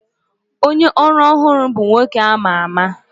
Onye ọrụ ọhụrụ bụ nwoke a ma ama